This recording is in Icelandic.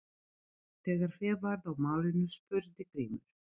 Þegar hlé varð á málinu spurði Grímur